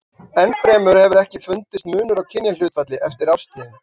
Enn fremur hefur ekki fundist munur á kynjahlutfalli eftir árstíðum.